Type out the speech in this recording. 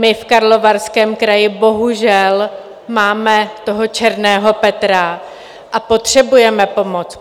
My v Karlovarském kraji bohužel máme toho černého Petra a potřebujeme pomoc.